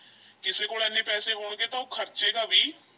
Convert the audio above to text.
ਕਿਸੇ ਕੋਲ ਇੰਨੇ ਪੈਸੇ ਹੋਣਗੇ ਤਾਂ ਉਹ ਖ਼ਰਚੇਗਾ ਵੀ।